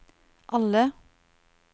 alle